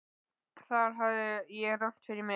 Þar hafði ég rangt fyrir mér.